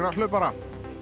hlaupara